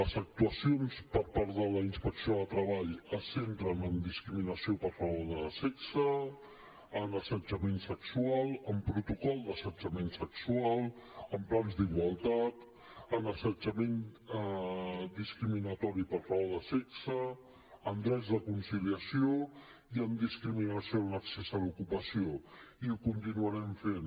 les actuacions per part de la inspecció de treball se centren en discriminació per raó de sexe en assetjament sexual en protocol d’assetjament sexual en plans d’igualtat en assetjament discriminatori per raó de sexe en drets de conciliació i en discriminació en l’accés a l’ocupació i ho continuarem fent